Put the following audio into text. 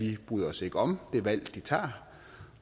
ikke bryder sig om det valg de tager